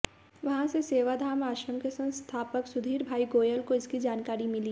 वहां से सेवाधाम आश्रम के संस्थापक सुधीरभाई गोयल को इसकी जानकारी मिली